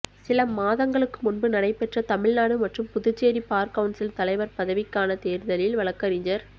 சில மாதங்களுக்கு முன்பு நடைபெற்ற தமிழ்நாடு மற்றும் புதுச்சேரி பார் கவுன்சில் தலைவர் பதவிக்கான தேர்தலில் வழக்கறிஞர்